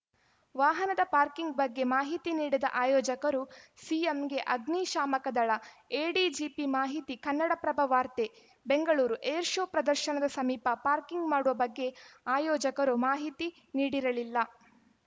ವಾಹನದ ಪಾರ್ಕಿಂಗ್‌ ಬಗ್ಗೆ ಮಾಹಿತಿ ನೀಡದ ಆಯೋಜಕರು ಸಿಎಂಗೆ ಅಗ್ನಿಶಾಮಕ ದಳ ಎಡಿಜಿಪಿ ಮಾಹಿತಿ ಕನ್ನಡಪ್ರಭ ವಾರ್ತೆ ಬೆಂಗಳೂರು ಏರ್‌ ಶೋ ಪ್ರದರ್ಶನದ ಸಮೀಪ ಪಾರ್ಕಿಂಗ್‌ ಮಾಡುವ ಬಗ್ಗೆ ಆಯೋಜಕರು ಮಾಹಿತಿ ನೀಡಿರಲಿಲ್ಲ